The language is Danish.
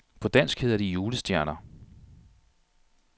På dansk hedder de julestjerner.